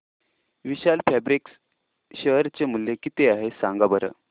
विशाल fabrics share चे मूल्य किती आहे सांगा बरं